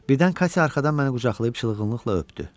Birdən Katya arxadan məni qucaqlayıb çılğınlıqla öpdü.